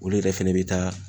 Olu yɛrɛ fɛnɛ bɛ taa